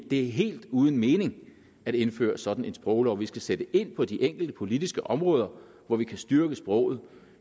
er helt uden mening at indføre sådan en sproglov vi skal sætte ind på de enkelte politiske områder hvor vi kan styrke sproget